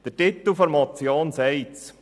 Der Titel der Motion sagt es: